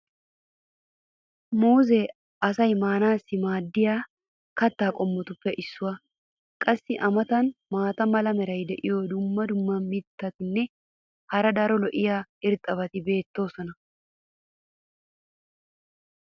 Muuzzee asay maanaassi maadiya kataa qommotuppe issuwa. qassi a matan maata mala meray diyo dumma dumma mitatinne hara daro lo'iya irxxabati beetoosona.